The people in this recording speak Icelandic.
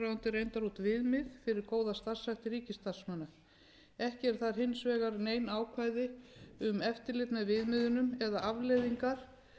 reyndar út viðmið fyrir góða starfshætti ríkisstarfsmanna ekki eru þar hins vegar nein ákvæði um eftirlit með viðmiðunum eða afleiðingar